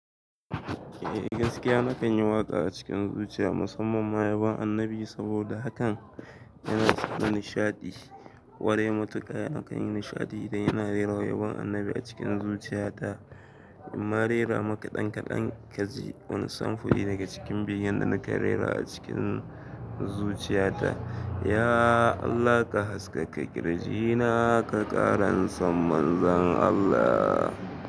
Eh gaskiya nakan yi waƙa a cikin zuciya musamman ma yabon annabi saboda hakan yana sa ni nishaɗi. Gwarai matuka nakan yi nishaɗi idan ina rera yabon annabi a cikin zuciyata. In ma rera maka ɗan kaɗan kaji wani samfuri daga cikin begen da nake rera a cikin zuciyata. Ya Allah ka haske ka kirji na ka ƙara san manzan Allah.